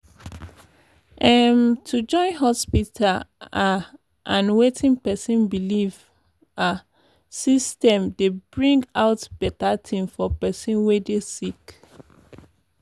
em- to join hospita ah and wetin pesin belief ah system dey bring out beta tin for pesin wey dey sick